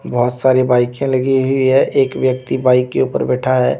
बहुत सारी बाईकें लगी हुई है एक व्यक्ति बाइक के ऊपर बैठा है।